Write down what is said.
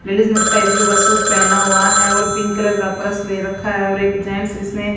ladies ने sky blue का suit पहना हुआ है और पिंक कलर का पर्स ले रखा है और एक जेंट्स जिसने--